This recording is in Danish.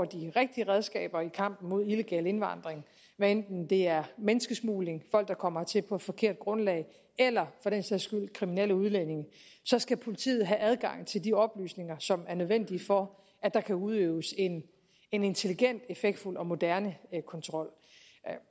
de rigtige redskaber i kampen mod illegal indvandring hvad enten det er menneskesmugling folk der kommer hertil på et forkert grundlag eller for den sags skyld kriminelle udlændinge så skal politiet have adgang til de oplysninger som er nødvendige for at der kan udøves en en intelligent effektfuldt og moderne kontrol